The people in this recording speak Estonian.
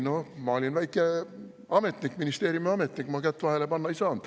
No ma olin väike ametnik, ministeeriumiametnik, kätt vahele panna ei saanud.